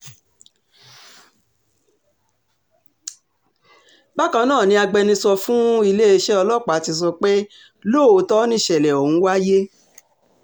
bákan náà ni agbẹnusọ fún iléeṣẹ́ ọlọ́pàá ti sọ pé lóòótọ́ nìṣẹ̀lẹ̀ ọ̀hún wáyé